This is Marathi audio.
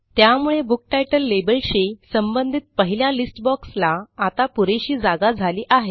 त्यामुळे बुक तितले लेबलशी संबंधित पहिल्या लिस्ट बॉक्स ला आता पुरेशी जागा झाली आहे